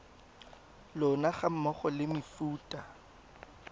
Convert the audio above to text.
lona ga mmogo le mefuta